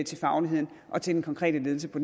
til fagligheden og den konkrete ledelse på